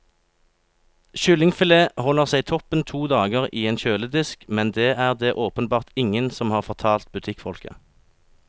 Kyllingfilet holder seg toppen to dager i en kjøledisk, men det er det åpenbart ingen som har fortalt butikkfolka.